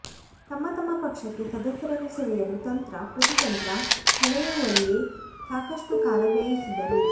ತಮ್ಮ ತಮ್ಮ ಪಕ್ಷಕ್ಕೆ ಸದಸ್ಯರನ್ನು ಸೆಳೆಯಲು ತಂತ್ರ ಪ್ರತಿತಂತ್ರ ಹೆಣೆಯುವಲ್ಲೇ ಸಾಕಷ್ಟು ಕಾಲ ವ್ಯಯಿಸಿದರು